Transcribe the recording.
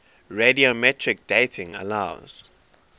radiometric dating allows